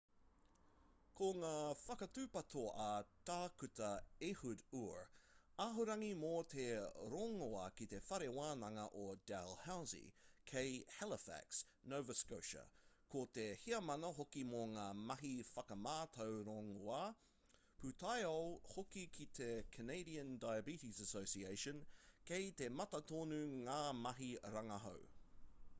ko ngā whakatūpato a tākuta ehud ur ahorangi mō te rongoā ki te whare wānanga o dalhousie kei halifax nova scotia ko te heamana hoki mō ngā mahi whakamātau rongoā pūtaiao hoki ki te canadian diabetes association kei te mata tonu ngā mahi rangahau